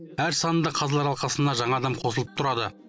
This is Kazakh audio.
әр санында қазылар алқасына жаңа адам қосылып тұрады